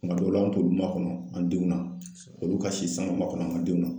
Kuma dɔw la an t'olu makɔnɔ an denw na olu ka si sanga makɔnɔ an ka denw na